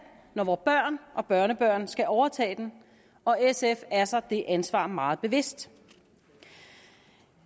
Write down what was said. når vores børn og børnebørn skal overtage den og sf er sig det ansvar meget bevidst